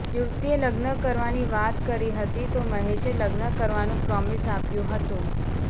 યુવતીએ લગ્ન કરવાની વાત કરી હતી તો મહેશે લગ્ન કરવાનું પ્રોમિસ આપ્યું હતું